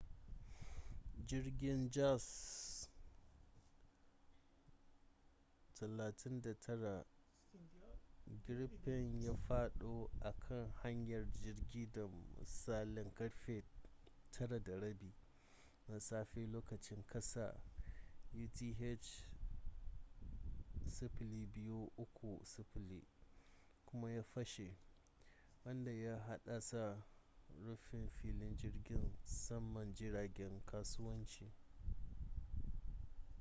jirgin jas 39c gripen ya fado a kan hanyar jirgi da misalin karfe 9:30 na safe lokacin kasa utc 0230 kuma ya fashe wanda ya haddasa rufe filin jirgin saman jiragen kasuwanci